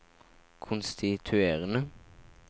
konstituerende